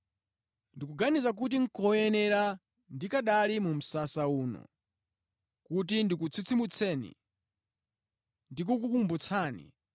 Ndikuganiza kuti nʼkoyenera ndikanali mu msasa uno, kuti ndikutsitsimutseni ndi kukukumbutsani,